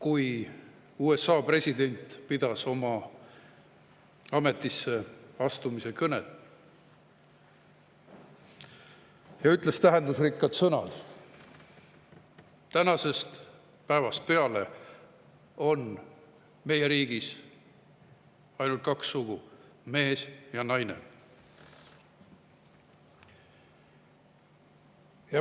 USA president pidas oma ametisse astumise kõne ja ütles tähendusrikkad sõnad: "Tänasest päevast peale on meie riigis ainult kaks sugu: mees ja naine.